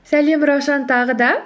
сәлем раушан тағы да